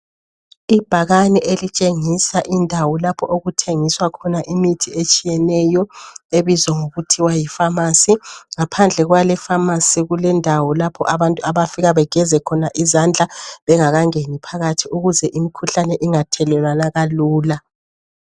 Ibhakane elitshengisa indawo lapho okuthengiswa khona imithi etshiyeneyo ebizwa ngokuthiwa yi pharmacy ngaphandle kwale pharmacy kulendawo lapho abantu abafika begeze khona izandla bengakangeni phakathi ukuze imikhuhlane ingathelelwana kalula.